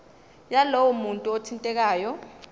yalowo muntu othintekayo